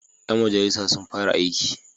Ƴan majalisa sun fara aiki.